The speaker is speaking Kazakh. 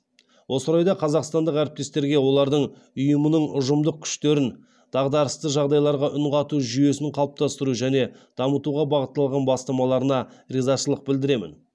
осы орайда қазақстандық әріптестерге олардың ұйымның ұжымдық күштерін дағдарысты жағдайларға үн қату жүйесін қалыптастыру және дамытуға бағытталған бастамаларына ризашылық білдіремін